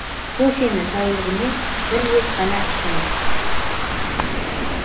кофені тәулігіне бір рет қана ішіңіз